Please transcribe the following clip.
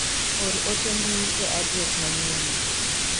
Or ote mbui e adres manyien ni.